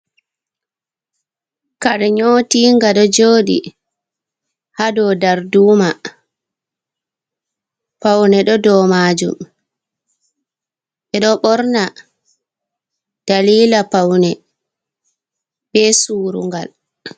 Kare nyotinga ɗo joɗi ha dou darduma, paune ɗo dou majum, ɓe ɗo ɓorna dalila paune be surungal.